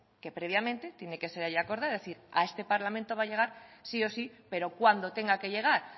que previamente tiene que ser ya acordada es decir a este parlamento va a llegar sí o sí pero cuando tenga que llegar